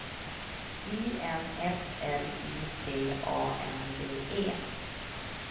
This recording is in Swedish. I N F L Y T A N D E